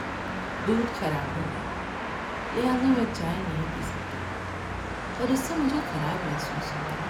‏دودھ خراب ہو گیا لہذا میں چائے نہیں پی سکتا اور اس سے مجھے خراب محسوس ہوتا ہے۔